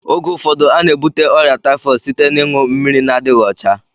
Oge ụfọdụ a na-ebute ọrịa taifọdụ site n'iṅu mmiri na-adịghị ọcha